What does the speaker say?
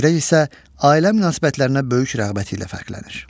Səcrək isə ailə münasibətlərinə böyük rəğbəti ilə fərqlənir.